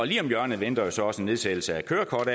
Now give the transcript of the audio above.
lige om hjørnet venter så også en nedsættelse af